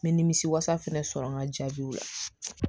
N bɛ nimisi wasa fɛnɛ sɔrɔ n ka jaabiw la